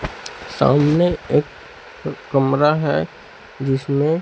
सामने एक कमरा हैं जिसमें--